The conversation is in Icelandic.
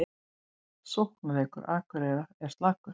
Sóknarleikur Akureyrar er slakur